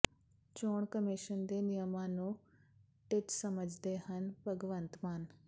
ਚੋਣ ਕਮਿਸ਼ਨ ਦੇ ਨਿਯਮਾਂ ਨੂੰ ਟਿੱਚ ਸਮਝਦੇ ਹਨ ਭਗਵੰਤ ਮਾਨ